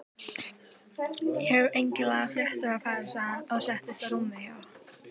Já þú ert sko ekki ein af okkur og ég er ekki vinkona þín.